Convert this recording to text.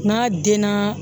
N'a denna